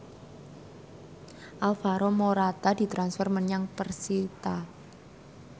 Alvaro Morata ditransfer menyang persita